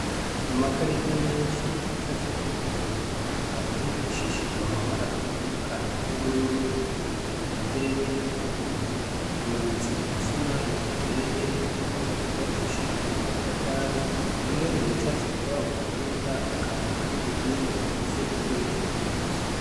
Amakarita menshi acafyeko ibintu bitandukanye hifashishijwe amabara atandukanye nk'ubururu, iritukura mbere n'iry'umuhondo, amanitse k'umusumari, uteye ku ruhome rwubakishijwe n'amatafari. Bimwe mubicafye kuri ayo makarita, akaba ari ibihimba bigize itembera ry'amaraso.